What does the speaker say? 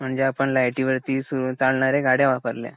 म्हणजे आपण लायटीवरती सु चालणाऱ्या गाड्या वापरल्या